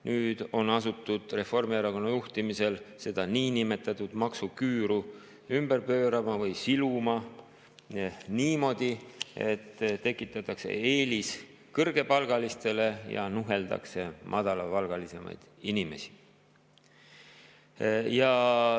Nüüd on asutud Reformierakonna juhtimisel seda niinimetatud maksuküüru ümber pöörama või siluma niimoodi, et tekitatakse eelis kõrgepalgalistele ja nuheldakse madalapalgalisi inimesi.